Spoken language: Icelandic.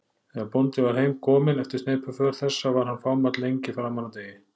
Þegar bóndi var heim kominn eftir sneypuför þessa var hann fámáll lengi framan af degi.